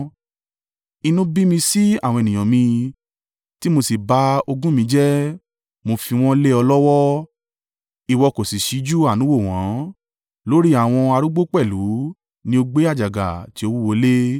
Inú bí mi sí àwọn ènìyàn mi tí mo sì ba ogún mi jẹ́, mo fi wọ́n lé ọ lọ́wọ́, Ìwọ kò sì síjú àánú wò wọ́n. Lórí àwọn arúgbó pẹ̀lú ní o gbé àjàgà tí ó wúwo lé.